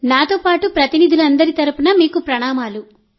నాతో పాటు ప్రతినిధులందరి తరపున మీకు ప్రణామాలు